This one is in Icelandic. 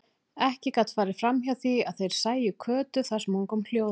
Ekki gat farið hjá því að þeir sæju Kötu þar sem hún kom hljóðandi.